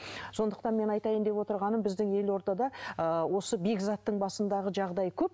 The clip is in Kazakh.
сондықтан менің айтатайын деп отырғаным біздің елордада ыыы осы бекзаттың басындағы жағдай көп